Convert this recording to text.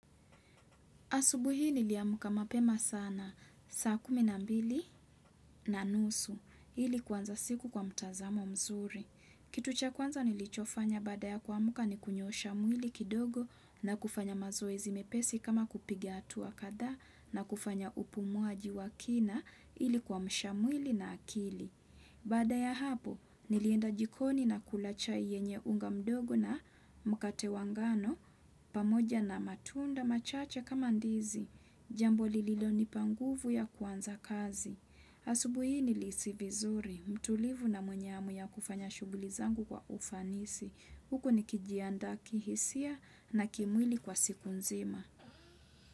Asubuhi niliamka mapema sana, saa kumi na mbili na nusu, ili kuanza siku kwa mtazamo mzuri. Kitu cha kwanza nilichofanya baada ya kuamka ni kunyoosha mwili kidogo na kufanya mazoezi mepesi kama kupigia hatua kadhaa na kufanya upumuaji wa kina ili kuamsha mwili na akili. Baada ya hapo, nilienda jikoni na kula chai yenye unga mdogo na mkate wa ngano, pamoja na matunda machache kama ndizi. Jambo lililo nipanguvu ya kuanza kazi. Asubuhi hii ni lisi vizuri, mtulivu na mwenye hamu ya kufanya shughuli zangu kwa ufanisi. Huko ni kijiandaa kihisia na kimwili kwa siku nzima.